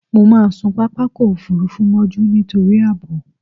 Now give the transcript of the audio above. Mo máà sun pápákọ̀-òfurufú mọ́jú nítorí ààbò.